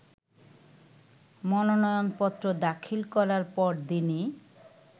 মনোনয়নপত্র দাখিল করার পরদিনই